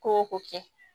Ko o ko kɛ